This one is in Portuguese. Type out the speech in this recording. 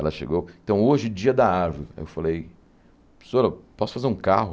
Ela chegou, então hoje, dia da árvore, eu falei, professora, posso fazer um carro?